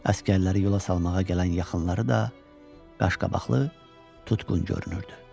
Əsgərləri yola salmağa gələn yaxınları da qaşqabaqlı, tutqun görünürdü.